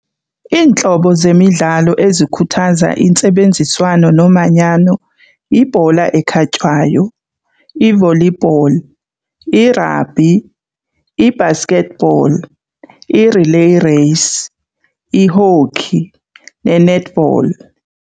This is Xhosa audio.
Iintlobo zemidlalo ezikhuthaza intsebenziswano nomanyano yibhola ekhatywayo, i-volleyball, irabhi, i-basketball, i-relay race, i-hockey ne-netball.